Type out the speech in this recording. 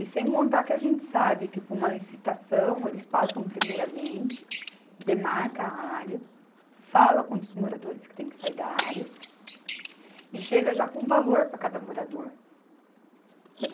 E sem contar que a gente sabe que, por uma licitação, eles passam primeiramente, demarca a área, fala quantos moradores que têm que sair da área e chega já com um valor para cada morador.